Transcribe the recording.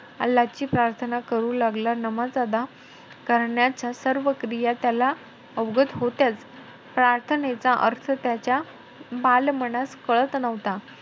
अल्लाची प्राथर्ना करू लागला. नमाज अदा करण्याच्या, सर्व क्रिया त्याला अवगत होत्याचं. प्राथर्नेचा अर्थ त्याच्या बालमानास कळत नव्हता.